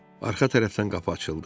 Arxa tərəfdən qapı açıldı.